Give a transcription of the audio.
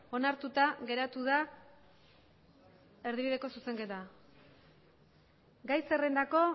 onartuta geratu da erdibideko zuzenketa gai zerrendako